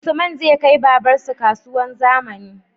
Usman zai kai babar su kasuwar zamani